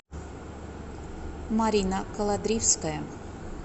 марина колодривская